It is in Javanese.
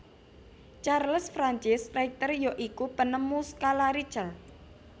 Charles Francis Richter ya iku penemu skala richter